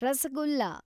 rasgulla